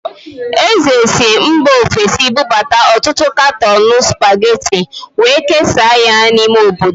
Eze si mba ofesi bụbata ọtụtụ katọọnụ Spageti wee kesaa ya n'ime obodo.